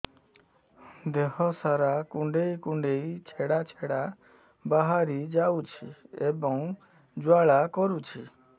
ଦେହ ସାରା କୁଣ୍ଡେଇ କୁଣ୍ଡେଇ ଛେଡ଼ା ଛେଡ଼ା ବାହାରି ଯାଉଛି ଏବଂ ଜ୍ୱାଳା କରୁଛି